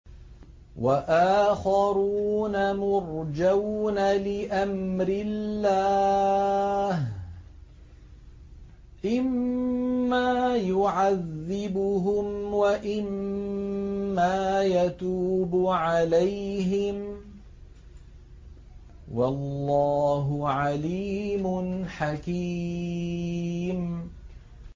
وَآخَرُونَ مُرْجَوْنَ لِأَمْرِ اللَّهِ إِمَّا يُعَذِّبُهُمْ وَإِمَّا يَتُوبُ عَلَيْهِمْ ۗ وَاللَّهُ عَلِيمٌ حَكِيمٌ